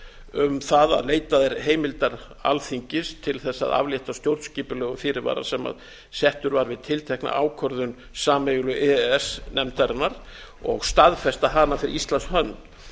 um það að leitað er heimildar alþingis til þess að aflétta stjórnskipulegum fyrirvara sem settur var við tiltekna ákvörðun sameiginlegu e e s nefndarinnar og staðfesta hana fyrir íslands hönd